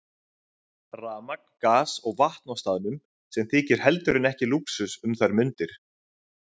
Rafmagn, gas og vatn á staðnum, sem þykir heldur en ekki lúxus um þær mundir.